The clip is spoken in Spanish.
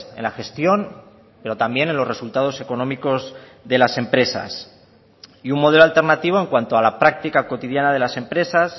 en la gestión pero también en los resultados económicos de las empresas y un modelo alternativo en cuanto a la práctica cotidiana de las empresas